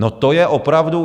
No to je opravdu...